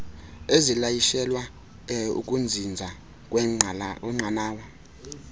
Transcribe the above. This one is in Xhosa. ezilayishelwa ukuzinza kwenqanawa